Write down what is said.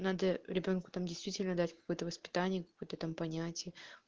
надо ребёнку там действительно дать какое-то воспитание какое-то там понятие